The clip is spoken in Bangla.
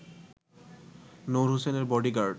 নূর হোসেনের বডিগার্ড